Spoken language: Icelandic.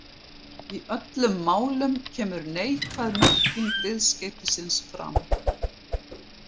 Í öllum málunum kemur neikvæð merking viðskeytisins fram.